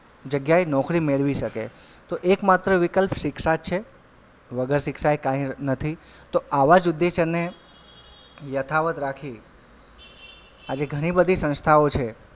જગ્યાએ નોકરી મેળવી શકે તો એક માત્ર વિકલ્પ શિક્ષા જ છે વગર શિક્ષા એ કાઈ નથી તો આવા જ ઉદેશ્ય યથાવત રાખી આજે ઘણી બધી સંસ્થાઓ છે.